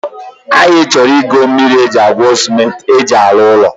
Anyị chọrọ ịgo mmiri e ji agwo cement e ji arụ ụlọ